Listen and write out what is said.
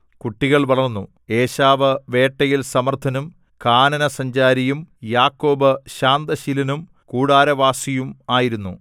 കുട്ടികൾ വളർന്നു ഏശാവ് വേട്ടയിൽ സമർത്ഥനും കാനനസഞ്ചാരിയും യാക്കോബ് ശാന്തശീലനും കൂടാരവാസിയും ആയിരുന്നു